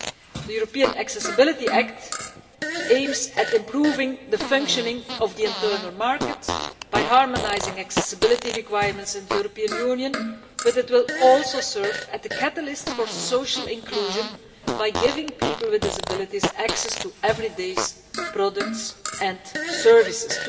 The European Accessibility Act aims to improve the functioning of the internal market by harmonising accessibility requirements in the European Union, but it will also serve as a catalyst for social inclusion, by giving people with disabilities access to everyday products and services.